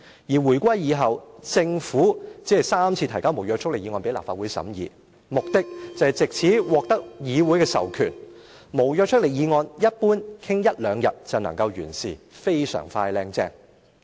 而回歸以後，政府只曾三次提交無約束力議案給立法會審議，目的，就是藉此獲得議會的授權——無約束力議案，一般傾一兩日會就能完事，非常快靚正。